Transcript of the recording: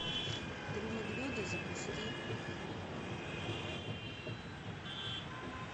три медведя запусти